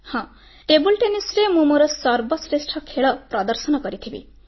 ହଁ ଟେବୁଲ ଟେନିସରେ ମୁଁ ମୋର ସର୍ବଶ୍ରେଷ୍ଠ ଖେଳ ପ୍ରଦର୍ଶନ କରିଥିବି